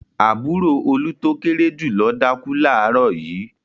Àbúrò Olú tó kéré jù lọ dákú láàárọ̀ yìí.